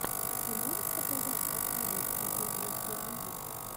ты можешь показать последний эпизод русской музыки